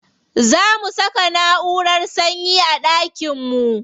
Za mu saka naʼurar sanyi a ɗakin mu.